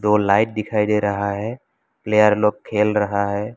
ऊपर लाइट दिखाई दे रहा है प्लेयर लोग खेल रहा है।